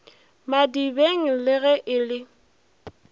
madibeng le ge e le